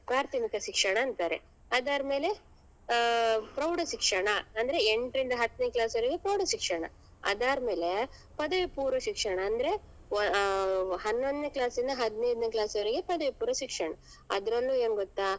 ಪ್ರಾಥಮಿಕ ಶಿಕ್ಷಣ ಅಂತಾರೆ ಅದಾದ್ಮೇಲೆ ಆ ಪ್ರೌಢ ಶಿಕ್ಷಣ ಅಂದ್ರೆ ಎಂಟ್ರಿಂದ ಹತ್ನೇ class ವರೆಗು ಪ್ರೌಢ ಶಿಕ್ಷಣ ಅದಾದ್ಮೇಲೆ ಪದವಿ ಪೂರ್ವ ಶಿಕ್ಷಣ ಅಂದ್ರೆ ಅಹ್ ಹನ್ನೊಂದ್ನೆೇ class ಇಂದ ಹದ್ನೈದ್ನೇ class ವರೆಗೆ ಪದವಿ ಪೂರ್ವ ಶಿಕ್ಷಣ ಅದ್ರಲ್ಲೂ ಏನ್ ಗೊತ್ತಾ.